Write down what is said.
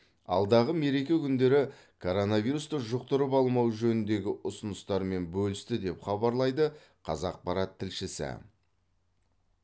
алдағы мереке күндерінде коронавирусты жұқтырып алмау жөніндегі ұсыныстармен бөлісті деп хабарлайды қазақпарат тілшісі